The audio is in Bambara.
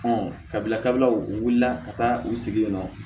kabila kabilaw u wulila ka taa u sigi yen nɔ